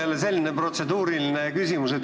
Minul on jälle protseduuriline küsimus.